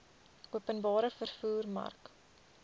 openbare vervoer mark